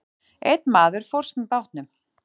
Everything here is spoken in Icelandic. Einn maður fórst með bátnum.